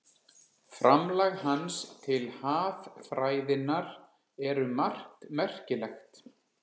Framlag hans til haffræðinnar er um margt merkilegt.